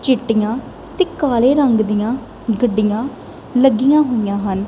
ਚਿੱਟੀਆਂ ਤੇ ਕਾਲੇ ਰੰਗ ਦੀਆਂ ਗੱਡੀਆਂ ਲੱਗੀਆਂ ਹੋਈਆਂ ਹਨ।